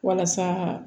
Walasa